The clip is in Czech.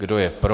Kdo je pro?